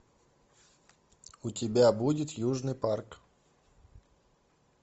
у тебя будет южный парк